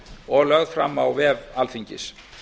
og lögð fram á vef alþingis